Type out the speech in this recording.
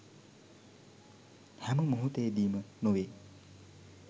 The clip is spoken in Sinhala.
හැම මොහොතේදීම නොවේ